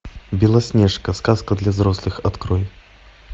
белоснежка сказка для взрослых открой